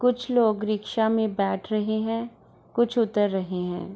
कुछ लोग रिक्शा में बैठ रहे हैं कुछ उतर रहे हैं |